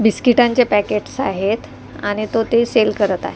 बिस्किटांचे packets आहेत आणि तो ते सेल करत आहे .